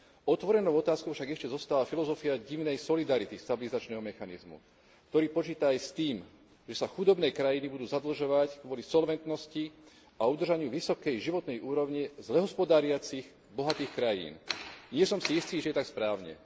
Otvorenou otázkou však ešte zostáva filozofia divnej solidarity stabilizačného mechanizmu, ktorý počíta aj s tým, že sa chudobné krajiny budú zadlžovať kvôli solventnosti a udržaniu vysokej životnej úrovne zle hospodáriacich bohatých krajín. Nie som si istý, či je to tak správne.